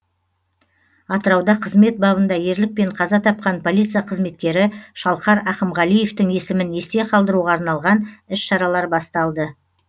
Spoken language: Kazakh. атырауда қызмет бабында ерлікпен қаза тапқан полиция қызметкері шалқар ақымғалиевтің есімін есте қалдыруға арналған іс шаралар басталды